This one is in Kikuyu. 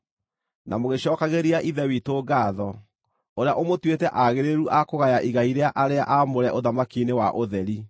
na mũgĩcookagĩria Ithe witũ ngaatho, ũrĩa ũmũtuĩte aagĩrĩru a kũgaya igai rĩa arĩa aamũre ũthamaki-inĩ wa ũtheri.